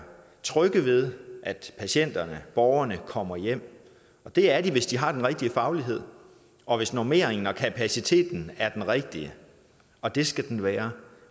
trygge ved at patienterne borgerne kommer hjem og det er de hvis de har den rigtige faglighed og hvis normeringen og kapaciteten er den rigtige og det skal den være